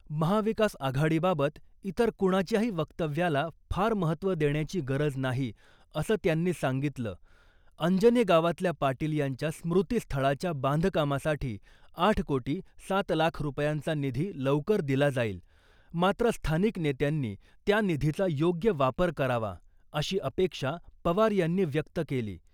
महाविकास आघाडीबाबत इतर कुणाच्याही वक्तव्याला फार महत्त्व देण्याची गरज नाही, असं त्यांनी सांगितलं, अंजनी गावातल्या पाटील यांच्या स्मृतीस्थळाच्या बांधकामासाठी आठ कोटी सात लाख रुपयांचा निधी लवकर दिला जाईल, मात्र स्थानिक नेत्यांनी त्या निधीचा योग्य वापर करावा , अशी अपेक्षा पवार यांनी व्यक्त केली .